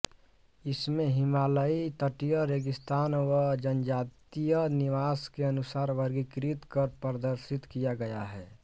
इसमें हिमालयी तटीय रेगिस्तानी व जनजातीय निवास के अनुसार वर्गीकृत कर प्रदर्शित किया गया है